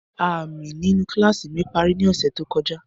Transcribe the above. Aami ninu kilasi mi pari ni ọsẹ to kọja.